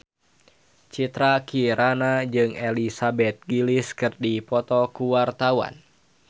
Citra Kirana jeung Elizabeth Gillies keur dipoto ku wartawan